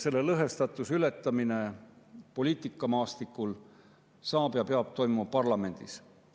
Selle lõhestatuse ületamine poliitikamaastikul saab toimuda ja peab toimuma parlamendis.